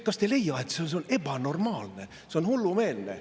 Kas te ei leia, et see on ebanormaalne, see on hullumeelne?